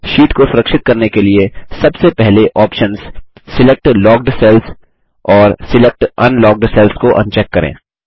sheet को सुरक्षित करने के लिए सबसे पहले ऑप्शन्स सिलेक्ट लॉक्ड सेल्स और सिलेक्ट अनलॉक्ड सेल्स को अनचेक करें